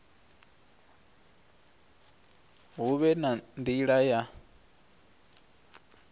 hu vhe na nila ya